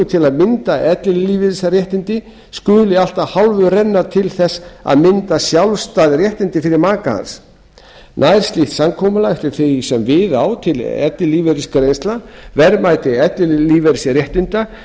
til að mynda ellilífeyrisréttindi skuli allt að hálfu renna til þess að mynda sjálfstæð réttindi fyrir maka hans nær slíkt samkomulag eftir því sem við á til ellilífeyrisgreiðslna verðmætis ellilífeyrisréttinda